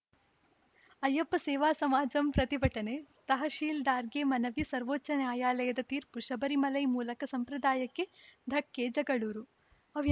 ಅಯ್ಯಪ್ಪ ಸೇವಾ ಸಮಾಜಂ ಪ್ರತಿಭಟನೆ ತಹಶೀಲ್ದಾರ್‌ಗೆ ಮನವಿ ಸರ್ವೋಚ್ಛ ನ್ಯಾಯಾಲಯದ ತೀರ್ಪು ಶಬರಿಮಲೈ ಮೂಲಕ ಸಂಪ್ರದಾಯಕ್ಕೆ ಧಕ್ಕೆ ಜಗಳೂರು ವೈ